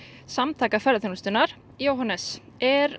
Samtaka ferðaþjónustunnar Jóhannes er